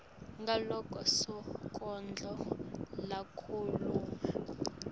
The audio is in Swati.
ngaloko sonkondlo lakhuluma